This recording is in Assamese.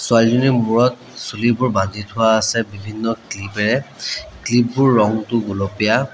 ছোৱালীজনিৰ মূৰত চুলিবোৰ বান্ধি থোৱা আছে বিভিন্ন ক্লিপেৰে ক্লিপ বোৰ ৰঙটো গুলপীয়া।